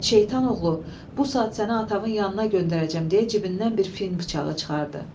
Şeytan oğlu, bu saat səni atavın yanına göndərəcəm, deyə cibindən bir fil bıçağı çıxardı.